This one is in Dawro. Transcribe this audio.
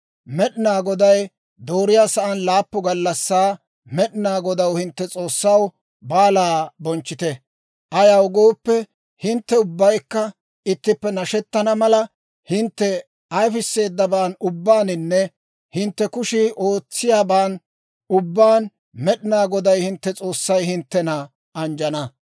Med'inaa Goday dooriyaa sa'aan laappun gallassaa Med'inaa Godaw, hintte S'oossaw, baalaa bonchchite; ayaw gooppe, hintte ubbaykka ittippe nashettana mala, hintte ayifisseedaban ubbaaninne hintte kushii ootsiyaaban ubbaan Med'inaa Goday hintte S'oossay hinttena anjjana.